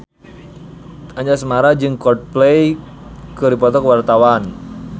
Anjasmara jeung Coldplay keur dipoto ku wartawan